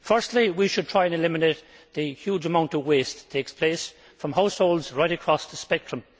Firstly we should try to eliminate the huge amount of waste that takes place from households right across the spectrum.